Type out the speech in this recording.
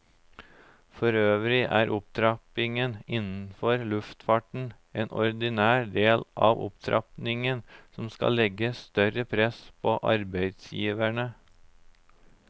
Forøvrig er opptrappingen innenfor luftfarten en ordinær del av opptrappingen som skal legge større press på arbeidsgiverne.